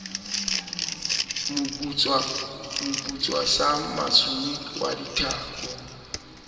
moputswa sa masumu wa dithako